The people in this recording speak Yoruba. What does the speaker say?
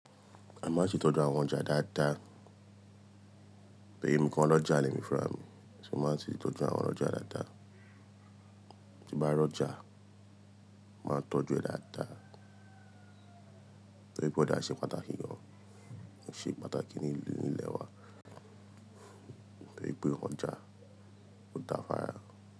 A máa ń ṣètọ́jú àwọn ọjà dáadáa. Bí i nǹkan lọ́jà lẹ́ẹ̀mí fún àmì, ṣé mo máa ń ṣètọ́jú àwọn ọjà dáadáa. Tí ń bá rọ́jà, màá tọ́jú ẹ dáadáa. Bí i pé ọjà ṣe pàtàkì gan, ṣe pàtàkì ní ìlú nílẹ̀ wa, bí i pé ọjà ò dáa fún ara rẹ̀.